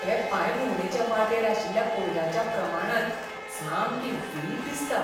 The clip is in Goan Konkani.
हे पांयभोंवडेचे वाटेर आशिल्ल्या कोयराच्या प्रमाणान सामकी वीट दिसता.